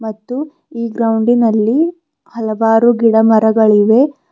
ಮತ್ತು ಈ ಗ್ರೌಂಡಿನಲ್ಲಿ ಹಲವರು ಗಿಡ ಮರಗಳಿವೆ.